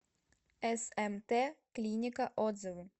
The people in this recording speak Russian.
смт клиника отзывы